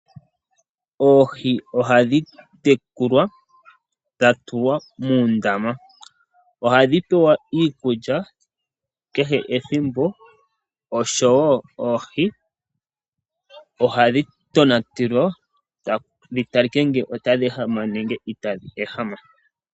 Oohi ohadhi tekulwa dha tulwa moondama. Ohadhi pewa iikulya kehe ethimbo osho woo oohi ohadhi tonatelwa, dhi talike ngele otadhi ehama nenge itadhi ehama.